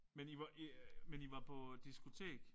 Men I var I men I var på diskotek?